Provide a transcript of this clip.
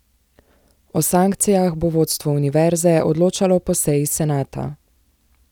O sankcijah bo vodstvo univerze odločalo po seji senata.